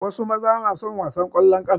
Wasu mazan na son wasan ƙwallon ƙafa.